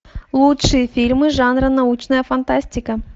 лучшие фильмы жанра научная фантастика